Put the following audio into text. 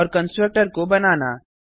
और कंस्ट्रक्टर को बनाना